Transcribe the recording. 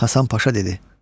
Hasan Paşa dedi: